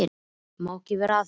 Ég má ekki vera að þessu.